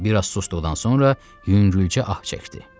Bir az susduqdan sonra yüngülcə ah çəkdi.